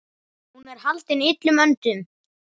Hún er haldin illum öndum.